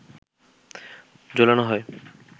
ঝোলানো হয়